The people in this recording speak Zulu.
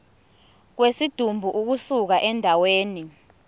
kwesidumbu ukusuka endaweni